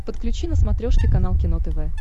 подключи на смотрешке канал кино тв